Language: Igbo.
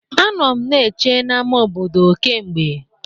Anọ m na-eche n'ama obodo kee mgbe.